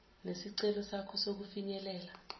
nesicelo sakho sokufinyelela